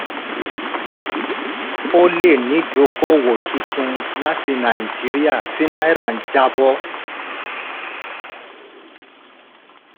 ó lè ní ìdókòwò tuntun láti nàìjíríà tí náírà ń jábọ́.